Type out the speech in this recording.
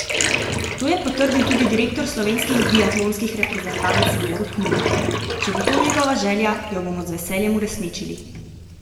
To je potrdil tudi direktor slovenskih biatlonskih reprezentanc Borut Nunar: 'Če bo to njegova želja, jo bomo z veseljem uresničili.